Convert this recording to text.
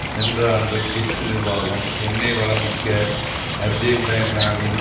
சென்ற ஆண்டு புஷ் நிர்வாகம் எண்ணெய் வளம் மிக்க அஜர்பைஜானில்